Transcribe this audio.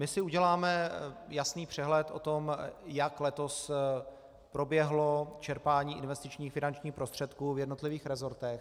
My si uděláme jasný přehled o tom, jak letos proběhlo čerpání investičních finančních prostředků v jednotlivých rezortech.